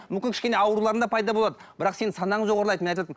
мүмкін кішкене ауруларың да пайда болады бірақ сенің санаң жоғарлайды мен айтып отырмын